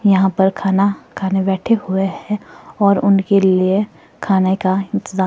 यहां पर खाना खाने बैठे हुए है और उनके लिए खाने का इंताज--